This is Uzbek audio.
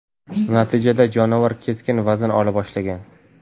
Natijada jonivor keskin vazn ola boshlagan.